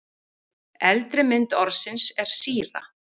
Eldri mynd orðsins er síra.